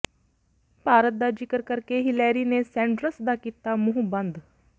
ਭਾਰਤ ਦਾ ਜ਼ਿਕਰ ਕਰਕੇ ਹਿਲੇਰੀ ਨੇ ਸੈਂਡਰਸ ਦਾ ਕੀਤਾ ਮੰੂਹ ਬੰਦ